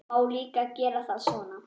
Má líka gera það svona